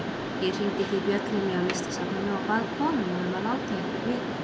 Ég hringdi því bjöllunni á Listasafninu og bað konuna um að láta ykkur vita.